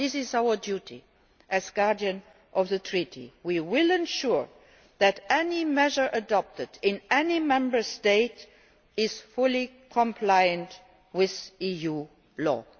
This is our duty as Guardian of the Treaties we will ensure that any measure adopted in any Member State is fully compliant with EU law.